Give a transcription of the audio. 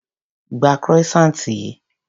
Gba croissant yìí.